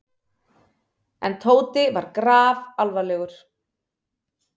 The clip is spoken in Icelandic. En Tóti var grafalvarlegur.